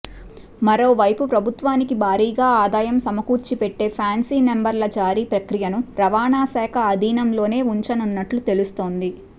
మరోవైపు ప్రభుత్వానికి భారీ ఆదాయం సమకూర్చిపెట్టే ఫ్యాన్సీ నెంబర్ల జారీ ప్రక్రియను రవాణా శాఖ ఆధీనంలోనే ఉంచనున్నట్లు తెలుస్తోంది